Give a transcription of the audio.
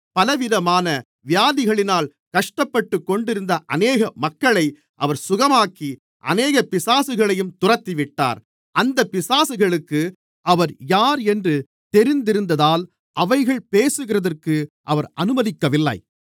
பலவிதமான வியாதிகளினால் கஷ்டப்பட்டுக் கொண்டிருந்த அநேக மக்களை அவர் சுகமாக்கி அநேக பிசாசுகளையும் துரத்திவிட்டார் அந்தப் பிசாசுகளுக்கு அவர் யார் என்று தெரிந்திருந்ததால் அவைகள் பேசுகிறதற்கு அவர் அனுமதிக்கவில்லை